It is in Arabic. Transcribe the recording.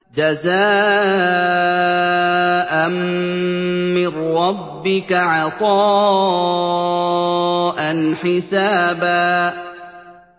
جَزَاءً مِّن رَّبِّكَ عَطَاءً حِسَابًا